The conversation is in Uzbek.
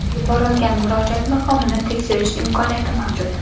Yuborilgan murojaat maqomini tekshirish imkoniyati mavjud.